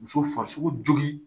Muso farisoko jogin